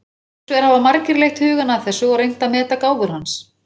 Hins vegar hafa margir leitt hugann að þessu og reynt að meta gáfur hans.